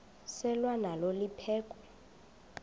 selwa nalo liphekhwe